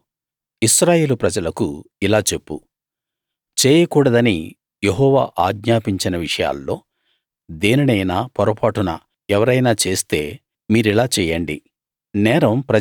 నువ్వు ఇశ్రాయేలు ప్రజలకు ఇలా చెప్పు చేయకూడదని యెహోవా ఆజ్ఞాపించిన విషయాల్లో దేనినైనా పొరపాటున ఎవరైనా చేస్తే మీరిలా చేయండి